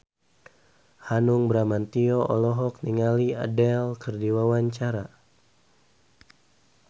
Hanung Bramantyo olohok ningali Adele keur diwawancara